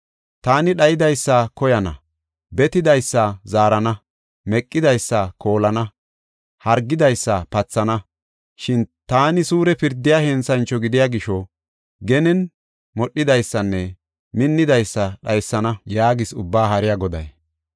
Taani dhayidaysa koyana; betidaysa zaarana; meqidaysa koolana; hargidaysa pathana. Shin taani suure pirdiya henthancho gidiya gisho genen modhidaysanne minnidaysa dhaysana” yaagees Ubbaa Haariya Goday.